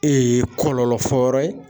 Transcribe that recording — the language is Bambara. kɔlɔlɔ fɔ yɔrɔ ye.